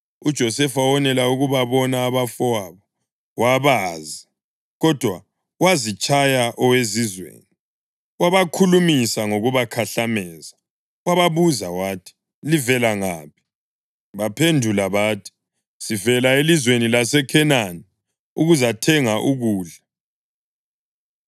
UJosefa wonela ukubabona abafowabo, wabazi, kodwa wazitshaya owezizweni, wabakhulumisa ngokubakhahlameza. Wababuza wathi, “Livela ngaphi?” Baphendula bathi, “Sivela elizweni laseKhenani ukuzathenga ukudla.”